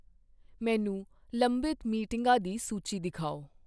ਮੈਨੂੰ ਲੰਬਿਤ ਮੀਟਿੰਗਾਂ ਦੀ ਸੂਚੀ ਦਿਖਾਓ